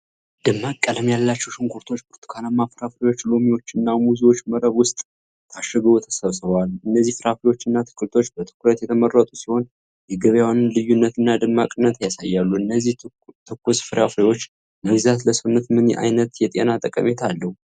ደማቅ ቀለም ያላቸው ሽንኩርቶች፣ ብርቱካንማ ፍራፍሬዎች፣ ሎሚዎችና ሙዞች መረብ ውስጥ ታሽገው ተሰቅለዋል። እነዚህ ፍራፍሬዎችና አትክልቶች በትኩረት የተመረጡ ሲሆን፣ የገበያውን ልዩነትና ደማቅነት ያሳያሉ። እነዚህን ትኩስ ፍራፍሬዎች መግዛት ለሰውነት ምን አይነት የጤና ጠቀሜታ አለው?